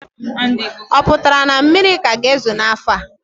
O pụtara na mmiri ka ga-ezo ọzọ n'afọ a?